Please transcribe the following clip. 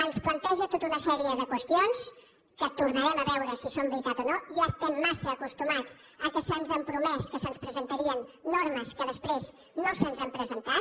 ens planteja tota una sèrie de qüestions que tornarem a veure si són veritat o no ja estem massa acostumats que se’ns ha promès que se’ns presentarien normes que després no se’ns han presentat